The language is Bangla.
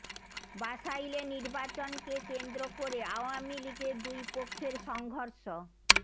বাসাইলে নির্বাচনকে কেন্দ্র করে আওয়ামী লীগের দুই পক্ষের সংঘর্ষ